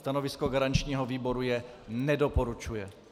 Stanovisko garančního výboru je - nedoporučuje.